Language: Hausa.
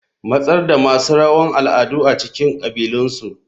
Matsar da masu rawan al'adu a cikin kabilunsu.